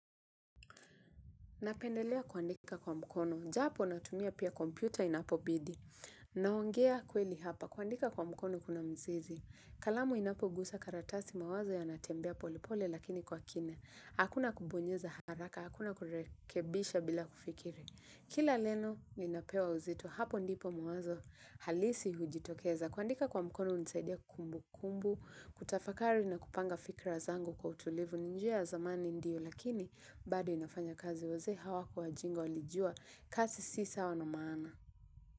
Napendelea kuandika kwa mkono. Japo natumia pia kompyuta inapobidi. Naongea kweli hapa. Kuandika kwa mkono kuna mzizi. Kalamu inapogusa karatasi mawazo yanatembea polepole lakini kwa kina. Hakuna kubonyeza haraka, hakuna kurekebisha bila kufikiri. Kila neno linapewa uzito, hapo ndipo mawazo halisi hujitokeza. Kuandika kwa mkono hunisaidia kumbukumbu kutafakari na kupanga fikra zangu kwa utulivu ni njia ya zamani ndiyo lakini bado inafanya kazi wazee hawakuwa wajinga walijua kasi si sawa na maana.